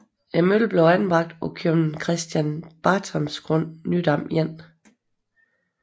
Møllen blev anbragt på købmand Christen Bartrams grund Nydamvej 1